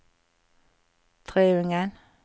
Treungen